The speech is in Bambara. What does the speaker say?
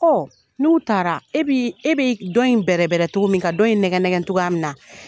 n'u taara e bi e bi dɔn in bɛrɛbɛrɛcogo min ka dɔn in nɛgɛ nɛgɛ cogoya min na